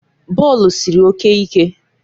Bọọlụ siri oke ike